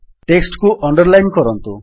text କୁ underline କରନ୍ତୁ